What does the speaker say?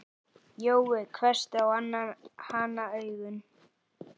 Jói hvessti á hana augun.